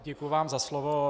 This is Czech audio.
Děkuji vám za slovo.